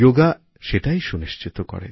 যোগা সেটাই সুনিশ্চিত করে